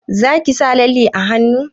Zaki sa lalle a hannu?